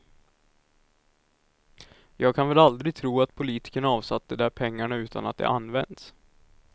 Jag kan väl aldrig tro att politikerna avsatt de där pengarna utan att de används.